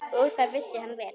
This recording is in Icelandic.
Og það vissi hann vel.